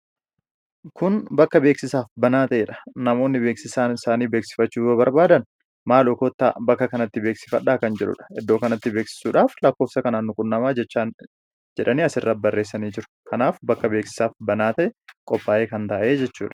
kun bakka beeksisaaf banaa ta'ee dha. namoonni beeksisa isaanii beeksifachuu yoo barbaadan, "maalo kottaa bakka kanatti beeksifadhaa" kan jedhuudha. iddoo kanatti beeksisuudhaaf lakkoofsa kanaan nu qunnamaa jechaan jedhanii as irra barreessanii jiru. kanaaf bakka beeksisaaf banaa ta'e qophaa'ee kan taa'e jechuudha.